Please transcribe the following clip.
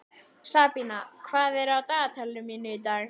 Sabína, hvað er á dagatalinu mínu í dag?